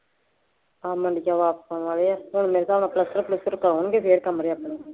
ਹਾਂ ਮੰਡੀਉ ਵਾਪਸ ਆਉਣ ਵਾਲੇ ਹੈ, ਹੁਣ ਮੇਰੇ ਹਿਸਾਬ ਨਾਲ ਪਲੱਸਤਰ ਪਲੂੱਸਤਰ ਕਰਵਾਉਣਗੇ ਫੇਰ ਕਮਰੇ ਅੰਦਰੋਂ